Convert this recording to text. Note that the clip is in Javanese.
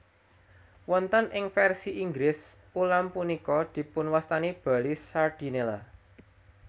Wonten ing vèrsi Inggris ulam punika dipunwastani Bali Sardinella